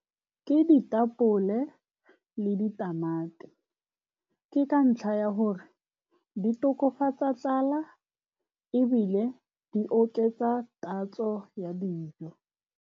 Ke ditapole le ditamati. Ke ka ntlha ya gore di tokafatsa tlala, ebile di oketsa tatso ya dijo.